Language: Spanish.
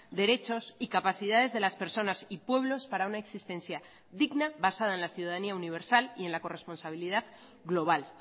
derechos y capacidades de las personas y pueblos para una existencia digna basada en la ciudadanía universal y en la corresponsabilidad global